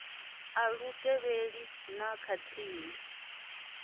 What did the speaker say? a lu tevhelelei na khathihi